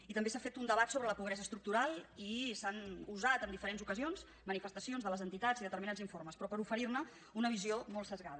i també s’ha fet un debat sobre la pobresa estructural i s’han usat en diferents ocasions manifestacions de les entitats i determinats informes però per oferir ne una visió molt esbiaixada